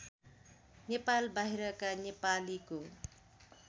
नेपाल बाहिरका नेपालीको